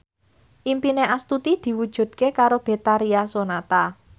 impine Astuti diwujudke karo Betharia Sonata